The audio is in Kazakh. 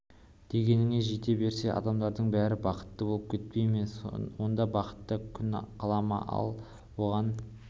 дегеніне жете берсе адамдардың бәрі бақытты болып кетпей ме онда бақытта күн қала ма ал оған